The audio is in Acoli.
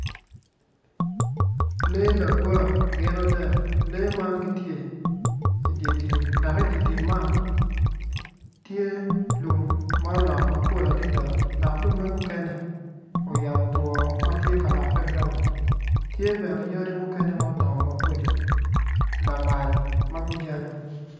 Lee lagwa gin adek lee man gitye idye tim dok i dye tim man tye lum ma olot mapol adada dok lumme mukene oyabo two matye ka loke mabraun tye bene yadi mukene ma odongo maboco lamal magujanyo.